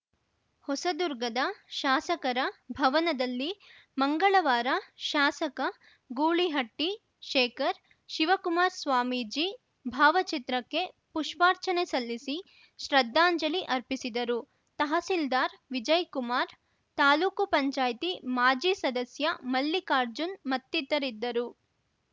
ಹೊಸದುರ್ಗದ ಶಾಸಕರ ಭವನದಲ್ಲಿ ಮಂಗಳವಾರ ಶಾಸಕ ಗೂಳಿಹಟ್ಟಿಶೇಖರ್‌ ಶಿವಕುಮಾರ್ ಸ್ವಾಮೀಜಿ ಭಾವಚಿತ್ರಕ್ಕೆ ಪುಷ್ಪಾರ್ಚನೆ ಸಲ್ಲಿಸಿ ಶ್ರದ್ಧಾಂಜಲಿ ಅರ್ಪಿಸಿದರುತಹಸೀಲ್ದಾರ್‌ ವಿಜಯ್‌ಕುಮಾರ್‌ ತಾಲ್ಲುಕ್ ಪಂಚಾಯತ್ ಮಾಜಿ ಸದಸ್ಯ ಮಲ್ಲಿಕಾರ್ಜುನ್‌ ಮತ್ತಿತರಿದ್ದರು